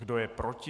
Kdo je proti?